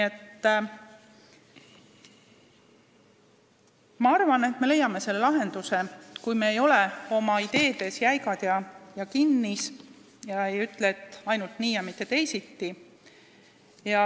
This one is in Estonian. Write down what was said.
Ma arvan, et me leiame lahenduse, kui me ei ole oma ideedes jäigalt kinni ega ütle, et ainult nii ja mitte teisiti.